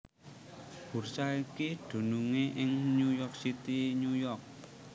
Bursa iki dunungé ing New York City New York